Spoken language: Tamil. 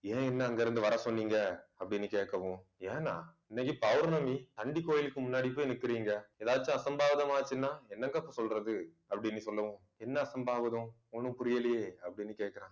ஏன் என்ன அங்க இருந்து வர சொன்னீங்க அப்படின்னு கேட்கவும். ஏன்னா இன்னைக்கு பௌர்ணமி அந்தி கோயிலுக்கு முன்னாடி போய் நிக்கிறீங்க. ஏதாச்சும் அசம்பாவிதம் ஆச்சுன்னா என்ன தப்பு சொல்றது அப்படின்னு சொல்லவும். என்ன அசம்பாவிதம் ஒண்ணும் புரியலயே அப்படினு கேக்குறான்